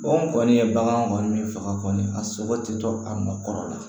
kɔni ye bagan kɔni faga kɔni a sogo tɛ to a nɔ kɔrɔ la